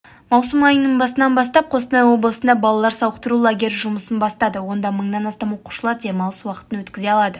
маусым айының басынан бастап қостанай облысында балалар сауықтыру лагері жұмысын бастады онда мыңнан астам оқушылар демалыс уақытын өткізе алады